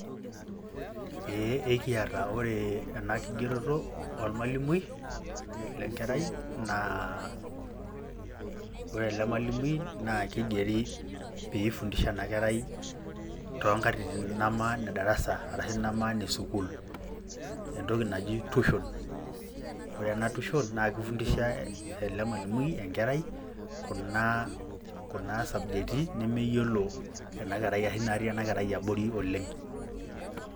Ee ekiata ore ena kigeroto olmalimui lenkerai naa ore ele malimui naa keigeri  peeifundisha ena kerai toonkatitin neme nedarasa arashu nemaane  sukul, entoki naji tushon. Ore ena tushon naake eifundisha ele malimui enkerai kuna sabjeti nemeyiolo ena kerai ashu naatii ena kerai abori oleng'.